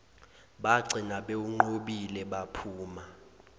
bagcina bewunqobile baphuma